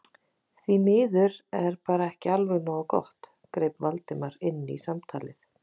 Því miður er bara ekki alveg nógu gott- greip Valdimar inn í samtalið.